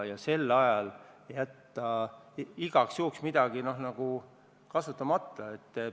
Ja sel ajal jätta igaks juhuks midagi kasutamata?